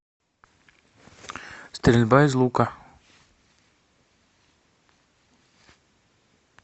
стрельба из лука